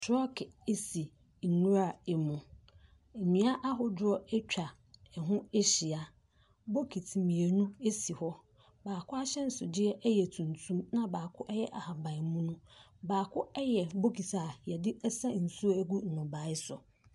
Trɔɔge si nwura mu. Nnua ahodoɔ atwa ɛho ahyia. Bokiti mmienu si hɔ. Baako ahyɛnsodeɛ yɛ tuntum na baako yɛ ahabanmono. Baako yɛ bokiti a yɔde sa nsuo gu nnɔbae so.